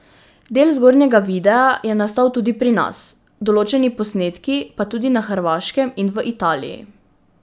Del zgornjega videa je nastal tudi pri nas, določeni posnetki pa tudi na Hrvaškem in v Italiji.